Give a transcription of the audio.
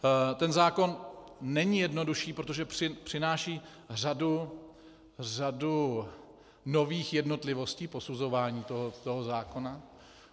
Ten zákon není jednodušší, protože přináší řadu nových jednotlivostí posuzování toho zákona.